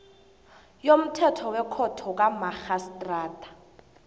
yomthetho wekhotho kamarhistrada